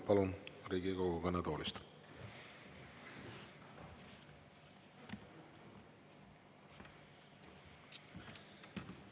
Palun Riigikogu kõnetoolist!